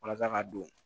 Walasa ka don